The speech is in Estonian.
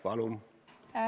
Palun!